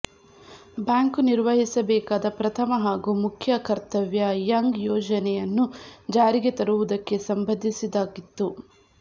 bank ನಿರ್ವಹಿಸಬೇಕಾದ ಪ್ರಥಮ ಹಾಗೂ ಮುಖ್ಯ ಕರ್ತವ್ಯ ಯಂಗ್ ಯೋಜನೆಯನ್ನು ಜಾರಿಗೆ ತರುವುದಕ್ಕೆ ಸಂಬಂಧಿಸಿದ್ದಾಗಿತ್ತು